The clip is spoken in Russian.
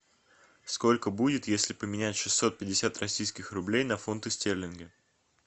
сколько будет если поменять шестьсот пятьдесят российских рублей на фунты стерлинга